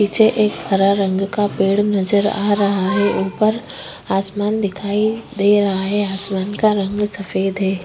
पीछे एक हरा रंग का पेड़ नजर आ रहा है। ऊपर आसमान दिखाई दे रहा है। आसमान का रंग सफेद है।